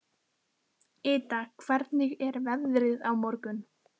Ida, hvernig er veðrið á morgun?